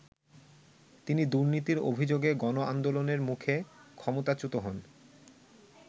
তিনি দুর্নীতির অভিযোগে গণআন্দোলনের মুখে ক্ষমতাচ্যূত হন।